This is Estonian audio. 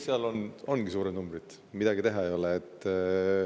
Seal ongi suured numbrid, midagi teha ei ole.